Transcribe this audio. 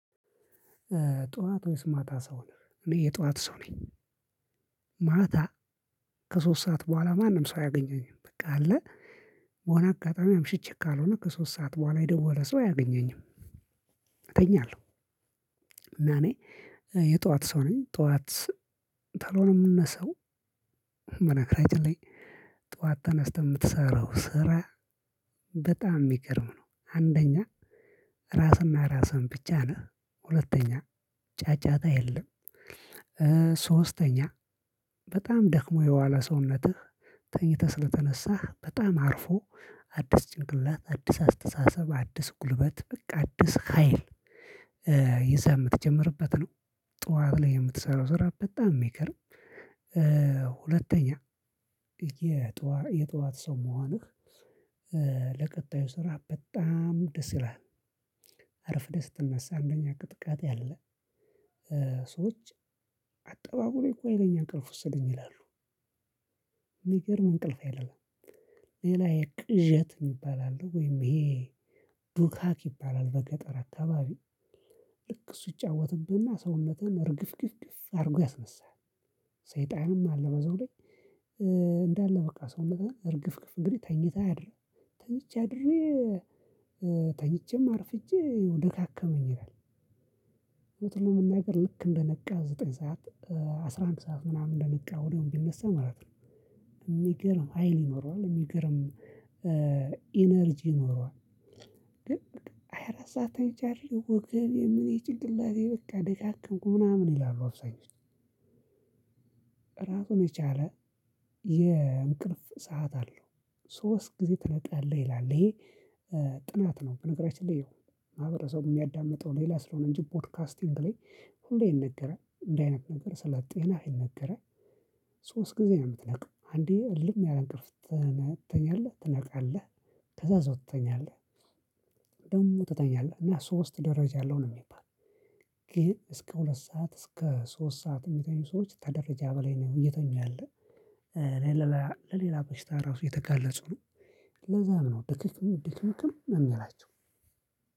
ጠዋት ወይስ ማታ ሰው ነህ? እኔ የጠዋት ሰው ነኝ። ማታ ከሶስት ሰዓት በኋላ ማንም ሰው አያገኘኝም። በቃ አለ በሆነ አጋጣሚ አምሽቼ ካልሆነ ከሶስት ሰዓት በኋላ የደወለ ሰው አያገኘኝም። እተኛለሁ እና እኔ የጠዋት ሰው ነኝ ጠዋት ተለው ነው የምነሳው። በነገራችን ላይ ጠዋት ተነስተህ የምትሰራው ስራ በጣም የሚገርም ነው። አንደኛ ራስና ራስን ብቻ ነህ ሁለተኛ ጫጫታ የለም። ሶስተኛ በጣም ደክሞ የዋለ ሰውነትህ ተኝተህ ስለተነሳህ በጣም አርፎ አዲስ ጭንቅላት አዲስ አስተሳሰብ አዲስ ጉልበት በቃ አዲስ ሀይል ይዘህ የምትጀምርበት ነው። ጠዋት ላይ የምትሰራው ስራ በጣም የሚገርም። ሁለተኛ የጧት ሰው መሆንህ ለቀጣዩ ስራ በጣም ደስ ይላል። አርፍደህ ስትነሳ አንደኛ ቅጥቃጤ አለ። ሰዎች አጠባቡን እኮ የሌለ እንቅልፍ ወስደኝ ይላሉ። የሚገርም እንቅልፍ አይደለም። ሌላ የቅዠት ይባላል ወይም ይሄ ዱካክ ይባላል በገጠር አካባቢ ልክ እሱ ይጫወትብህና ሰውነትህን እርግፍግፍ አድርጎ ያስነሳሀል። ሰይጣንም አለ በዛው ላይ። እንዳለ በቃ ሰውነትህን እርግፍግፍ እንግዲህ ተኝተህ አድረህ ተኝቼ አድሬ ተኝቼም አርፍጄ ደካከመኝ ይላል። እውነቱን ለመናገር ልክ እንደነቃ ዘጠኝ ሰዓት አስራ አንድ ሰዓት ምናምን እንደነቃ ወዲያው ቢነሳ ማለት ነው። እሚገርም ሀይል ይኖረዋል እሚገርም ኢነርጂ ይኖረዋል። ግን ሃያ አራት ሰዓት ተኝቼ አድሬ ወገቤ ምኔ ጭንቅላቴ በቃ ደካከመኝ ምናምን ይላሉ አብዛኞቹ። እራሱን የቻለ የእንቅልፍ ሰዓት አለው። ሶስት ጊዜ ትነቃለህ ይላል ይሄ ጥናት ነው። በነገራችን ላይ ይሄው ማህበረሰቡ የሚያዳምጠው ሌላ ስለሆነ እንጂ ፖድካስቲንግ ላይ ሁሌ ይነገራል እንደዚህ አይነት ነገር ስለ ጤናህ ይነገራል። ሶስት ጊዜ ነው የምትነቃው አንዴ እልም ያለ እንቅልፍ ትተኛለህ ትነቃለህ። ከዛ በዛው ትተኛለህ። ደግሞ ትተኛለህ እና ሶስት ደረጃ አለው ነው የሚባል። ይሄን እስከ ሁለት ሰዓት እስከ ሶስት ሰዓት እሚተኙ ሰዎች ተደረጃ በላይ ነው እየተኛ ያለ። ለሌላ ለሌላ በሽታ ራሱ የተጋለጹ ነው። ለዛም ነው ድክም ድክምክም እሚላቸው።